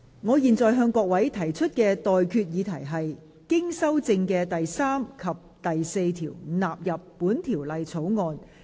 我現在向各位提出的待決議題是：經修正的第3及4條納入本條例草案。